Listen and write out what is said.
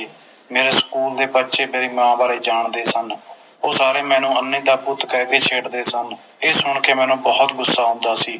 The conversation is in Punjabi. ਮੇਰੇ ਸਕੂਲ ਦੇ ਬੱਚੇ ਮੇਰੀ ਮਾਂ ਬਾਰੇ ਜਾਣਦੇ ਸਨ ਉਹ ਸਾਰੇ ਮੈਨੂੰ ਅੰਨ੍ਹੀ ਦਾ ਪੁੱਤ ਕਹਿ ਕੇ ਛੇੜਦੇ ਸਨ ਇਹ ਸੁਣ ਕੇ ਮੈਨੂੰ ਬੋਹੋਤ ਗੁੱਸਾ ਆਉਂਦਾ ਸੀ